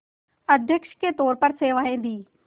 अध्यक्ष के तौर पर सेवाएं दीं